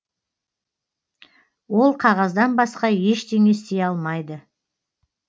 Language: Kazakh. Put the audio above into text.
ол қағаздан басқа ештеңе істей алмайды